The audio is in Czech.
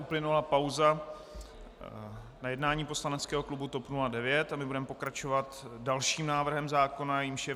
Uplynula pauza na jednání poslaneckého klubu TOP 09 a my budeme pokračovat dalším návrhem zákona, jímž je